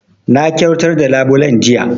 Na kyautar da labulen jiya